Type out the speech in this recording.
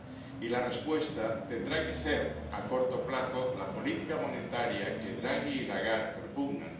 Y la respuesta tendrá que ser, a corto plazo, la política monetaria que Draghi y Lagarde propugnan